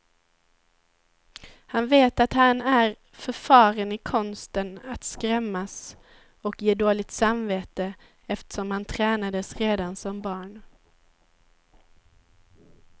Han vet att han är förfaren i konsten att skrämmas och ge dåligt samvete, eftersom han tränades redan som barn.